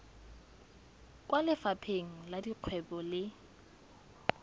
kwa lefapheng la dikgwebo le